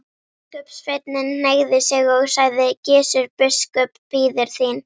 Biskupssveinninn hneigði sig og sagði: Gizur biskup bíður þín.